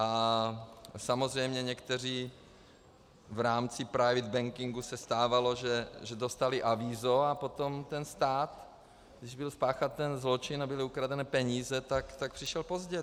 A samozřejmě někteří - v rámci private bankingu se stávalo, že dostali avízo, a potom ten stát, když byl spáchán ten zločin a byly ukradeny peníze, tak přišel pozdě.